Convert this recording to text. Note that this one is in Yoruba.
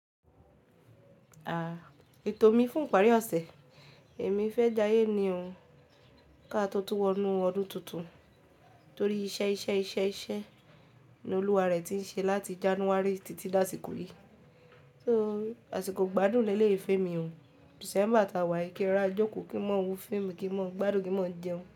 À, ètò mi fún ìparí ọ̀sẹ̀, èmi fẹ́ jayé ní ò, ká tó tún wọnú ọdún tuntun torí iṣẹ́, iṣẹ́, iṣẹ́, iṣẹ́ ni Olúwarẹ̀ ti ń ṣe láti January títí lásìkò yìí. So, àsìkò gbádùn leléyìí fèè mi ò December taa wá, kí ẹ ra jòkó kí n máa wo fíìmù kí n máa gbádùn kí n máa jẹun.